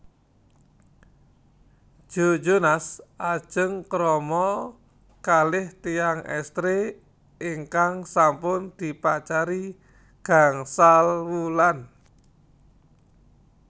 Joe Jonas ajeng krama kalih tiyang estri ingkang sampun dipacari gangsal wulan